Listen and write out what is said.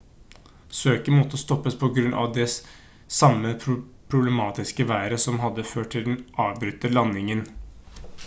søket måtte stoppes på grunn av det samme problematiske været som hadde ført til den avbrutte landingen